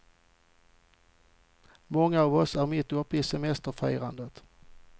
Många av oss är mitt uppe i semesterfirandet.